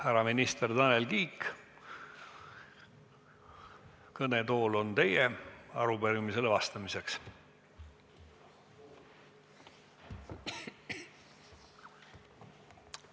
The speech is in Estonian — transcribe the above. Härra minister Tanel Kiik, kõnetool on arupärimisele vastamiseks teie.